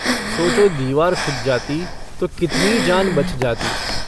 सोचो दीवार खुद जाती तो कितनी जान बच जातीं।